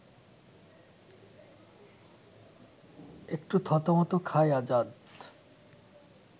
একটু থতমত খায় আজাদ